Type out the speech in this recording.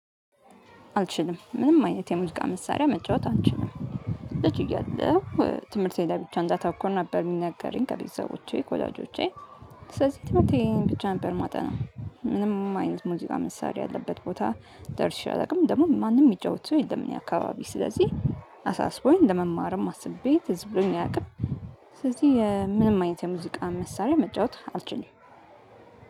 አልችልም ምንም አይነት የሙዚቃ መሳሪያ መጫወት አልችልም። ልጅ እያለሁ ትምህርቴ ላይ ብቻ እንዳታኮር ነበር የሚነገረኝ ከቤተሰቦቼ ኮላጆቼ። ስለዚህ የትምህርቴን ብቻ ነበር ማጠና። ምንም አይነት ሙዚቃ መሳሪያ ያለበት ቦታ ደርሼ አላውቅም ደግሞ ማንም የሚጫወቱ የለም። እኛ አካባቢ ስለዚህ አሳስቦኝ ለመማርም አስቤ ትዝ ብሎኝ አያውቅም። ስለዚህ ምንም አይነት የሙዚቃ መሳሪያ መጫወት አልችልም።